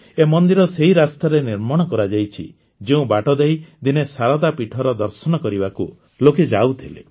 ଏ ମନ୍ଦିର ସେହି ରାସ୍ତାରେ ନିର୍ମାଣ କରାଯାଇଛି ଯେଉଁ ବାଟଦେଇ ଦିନେ ଶାରଦା ପୀଠର ଦର୍ଶନ କରିବାକୁ ଲୋକେ ଯାଉଥିଲେ